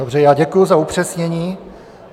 Dobře, já děkuji za upřesnění.